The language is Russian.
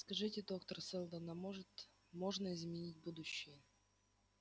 скажите доктор сэлдон а может можно изменить будущее